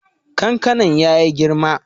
Kankanan ya yi girma.